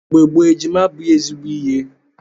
Mgbe gboo, ejima abụghị ezigbo ihe.